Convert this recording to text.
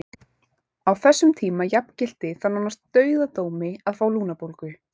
Á þessum tíma jafngilti það nánast dauðadómi að fá lungnabólgu.